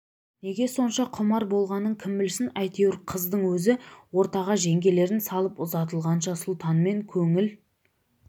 неге сонша құмар болғанын кім білсін әйтеуір қыздың өзі ортаға жеңгелерін салып ұзатылғанша сұлтанмен көңіл